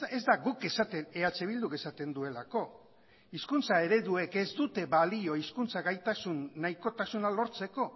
ez da guk eh bilduk esaten duelako hizkuntza ereduek ez dute balio hizkuntza gaitasun nahikotasuna lortzeko